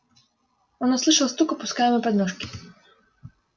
он услышал стук опускаемой подножки